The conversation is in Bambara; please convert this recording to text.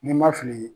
Ni n ma fili